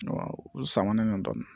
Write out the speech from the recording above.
U samanen don dɔɔnin